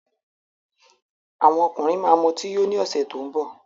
Àwọn ọkùnrin ma mọtí yó ní ọ̀sẹ̀ tó ń bọ̀